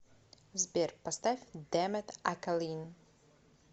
сбер поставь дэмэт акалин